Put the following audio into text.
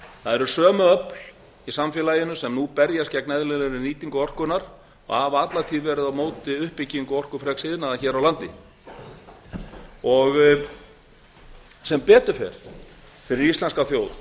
það eru sömu öfl í samfélaginu sem nú berjast gegn eðlilegri nýtingu orkunnar og hafa alla tíð verið á móti uppbyggingu orkufreks iðnaðar hér á landi sem betur fer fyrir íslenska þjóð